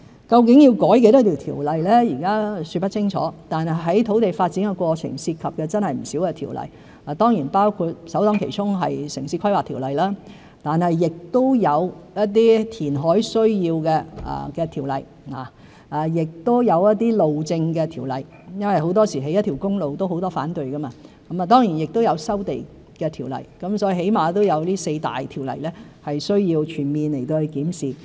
究竟要修改多少項條例，現在說不清楚，但在土地發展的過程的確涉及不少條例，包括首當其衝的《城市規劃條例》，亦有一些填海需要的條例，亦有一些路政條例，因為很多時候，興建一條公路也有很多反對意見，當然亦有收地的條例，所以起碼有這四大條例需要全面檢視。